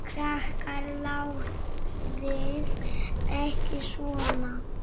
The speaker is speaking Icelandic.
Krakkar látiði ekki svona!